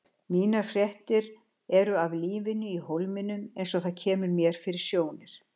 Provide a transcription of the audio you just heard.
Mínar fréttir eru af lífinu í Hólminum eins og það kemur mér fyrir sjónir.